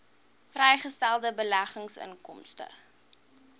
vrygestelde beleggingsinkomste